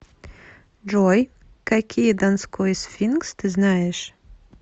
джой какие донской сфинкс ты знаешь